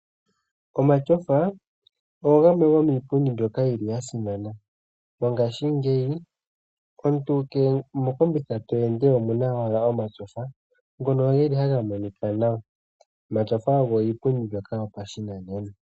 Omatyofa iipundi yimwe yasimana. Mongaashi ngeyi omuntu kehe mokombitha to ende omuna ashike omatyofa ngoka ha ga monika nawa. Omatyofa ogo iipundi yopashinanena.